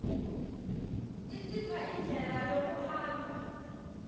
isipha indlela yokuhamba